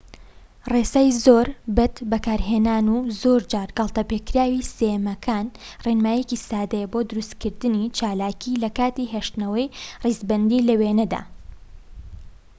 ڕێسای زۆر بەدبەکارهێنان و زۆرجار گاڵتەپێکراوی سێیەمەکان ڕێنماییەکی سادەیە بۆ دروستکردنی چالاکی لەکاتی هێشتنەوەی ڕیزبەندی لە وێنەدا‎